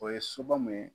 O ye soba mun ye